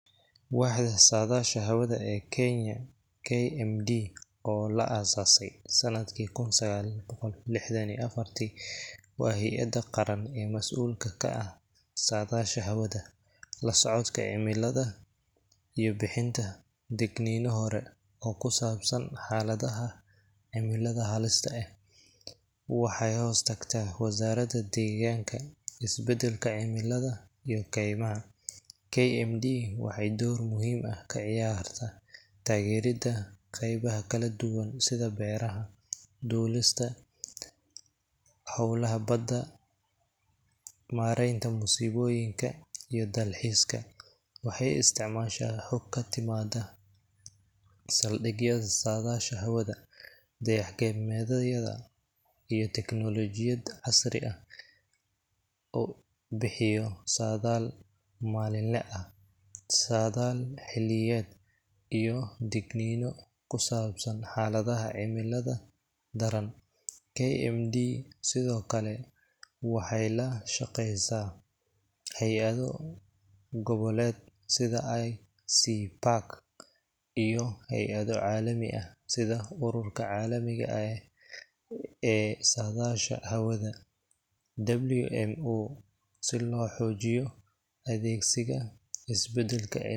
Waaxda Saadaasha Hawada ee Kenya KMD, oo la aasaasay sanadkii kun sagal boqol lixdan iyo afartii, waa hay’adda qaran ee mas’uulka ka ah saadaasha hawada, la socodka cimilada, iyo bixinta digniino hore oo ku saabsan xaaladaha cimilada halista eh. Waxay hoostagtaa Wasaaradda Deegaanka, Isbedelka Cimilada, iyo Kaymaha. KMD waxay door muhiim ah ka ciyaartaa taageeridda qeybaha kala duwan sida beeraha, duulista, howlaha badda, maaraynta musiibooyinka, iyo dalxiiska. Waxay isticmaashaa xog ka timaadda saldhigyada saadaasha hawada, dayax-gacmeedyada, iyo tiknoolajiyad casri ah oo bixiyo saadaal maalinle ah, saadaal xilliyeed, iyo digniino ku saabsan xaaladaha cimilada daran. KMD sidoo kale waxay la shaqeysaa hay’ado goboleed sida ICPAC iyo hay’ado caalami ah sida Ururka Caalamiga ah ee Saadaasha Hawada WMO si loo xoojiyo adegsiga isbeddelka cimi.